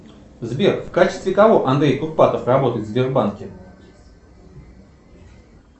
сбер в качестве кого андрей курпатов работает в сбербанке